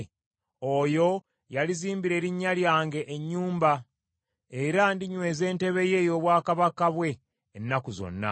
Oyo yalizimbira Erinnya lyange ennyumba, era ndinyweza entebe ye ey’obwakabaka bwe ennaku zonna.